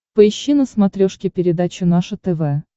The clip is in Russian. поищи на смотрешке передачу наше тв